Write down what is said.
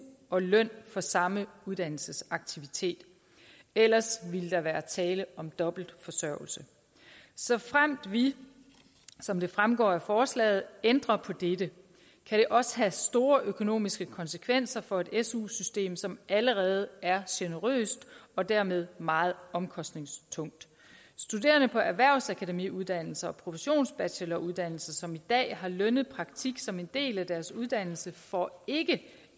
og løn for samme uddannelsesaktivitet ellers ville der være tale om dobbeltforsørgelse såfremt vi som det fremgår af forslaget ændrer på dette kan det også have store økonomiske konsekvenser for et su system som allerede er generøst og dermed meget omkostningstungt studerende på erhvervsakademiuddannelser og professionsbacheloruddannelser som i dag har lønnet praktik som en del af deres uddannelse får ikke